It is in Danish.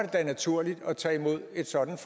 da naturligt at tage imod et sådant